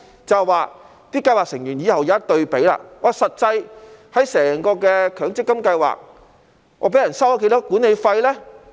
這樣計劃成員往後便可作出比較，知悉在整體強積金計劃中，實際上被人收取了多少管理費呢？